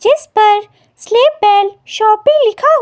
जिस पर Sleepwell shoppe लिखा हुआ--